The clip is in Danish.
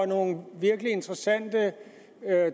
nogle virkelig interessante